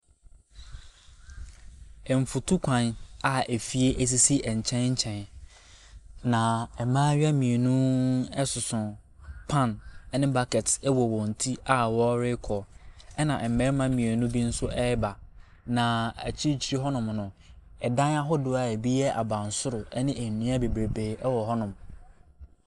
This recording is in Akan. Nfutukwan a efie esisi nkyɛnkyɛn. Na mmaayewa mmienu ɛsoso pan ɛne bucket ɛwɔ wɔn ti a ɔrekɔ ɛna mmarima mmienu bi nso ɛreba. Na akyirikyiri hɔ nom no adan ahodoɔ a ebi yɛ abansoro ɛne nnua bebreebee ɛwɔ hɔ nom.